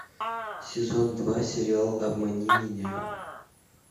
сезон два сериал обмани меня